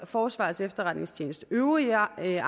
forsvarets efterretningstjenestes øvrige arbejde